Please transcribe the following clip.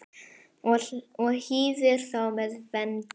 og hýðir þá með vendi.